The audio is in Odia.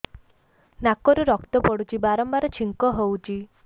ନାକରୁ ରକ୍ତ ପଡୁଛି ବାରମ୍ବାର ଛିଙ୍କ ହଉଚି